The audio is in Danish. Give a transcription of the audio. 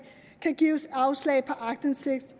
kan gives afslag på aktindsigt